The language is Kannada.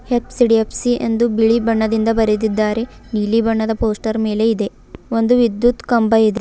ಎಚ್_ಡಿ_ಎಫ್_ಸಿ ಎಂದು ಬಿಳಿ ಬಣ್ಣದಿಂದ ಬರೆದಿದ್ದಾರೆ ನೀಲಿ ಬಣ್ಣದ ಪೋಸ್ಟರ್ ಮೇಲೆ ಇದೆ ಒಂದು ವಿದ್ಯುತ್ ಕಂಬ ಇದೆ.